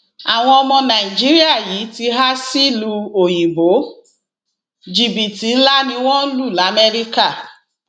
àwọn ọmọ nàìjíríà yìí ti há sílùú òyìnbó ó jìbìtì ńlá ni wọn lù lamẹríkà